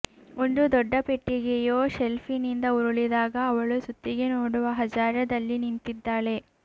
ಒಂದು ದೊಡ್ಡ ಪೆಟ್ಟಿಗೆಯು ಶೆಲ್ಫ್ನಿಂದ ಉರುಳಿದಾಗ ಅವಳು ಸುತ್ತಿಗೆ ನೋಡುವ ಹಜಾರದಲ್ಲಿ ನಿಂತಿದ್ದಾಳೆ